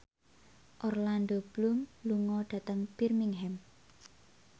Orlando Bloom lunga dhateng Birmingham